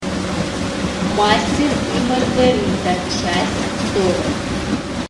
мастер и маргарита часть сорок